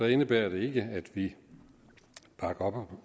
indebærer det ikke at vi bakker